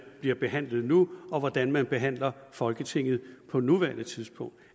bliver behandlet nu og hvordan man behandler folketinget på nuværende tidspunkt